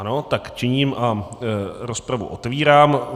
Ano, tak činím a rozpravu otevírám.